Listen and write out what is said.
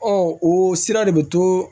Ɔ o sira de bɛ to